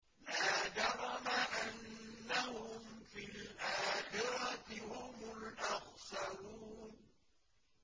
لَا جَرَمَ أَنَّهُمْ فِي الْآخِرَةِ هُمُ الْأَخْسَرُونَ